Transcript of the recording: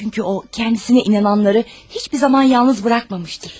Çünki o, özünə inananları heç bir zaman tək buraxmamışdır.